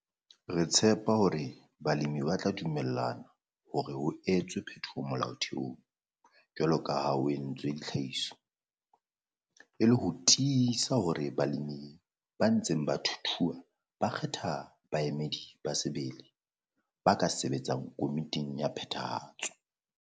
Re tshepa hore balemi ba tla dumellana hore ho etswe phetoho molaotheong jwalo ka ha ho entswe ditlhlahiso e le ho tiisa hore balemi ba ntseng ba thuthuha ba kgetha baemedi ba sebele ba ka sebetsang Komiting ya Phethahatso.